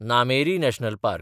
Nameri national park